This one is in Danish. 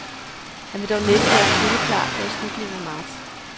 Han vil dog næppe være spilleklar før i slutningen af marts.